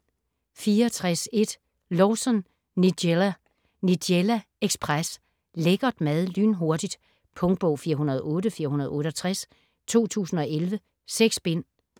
64.1 Lawson, Nigella: Nigella ekspres: lækker mad lynhurtigt Punktbog 408468 2011. 6 bind.